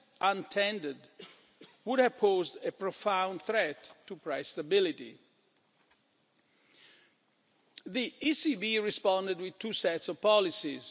untended, would have posed a profound threat to price stability. The ECB responded with two sets of policies.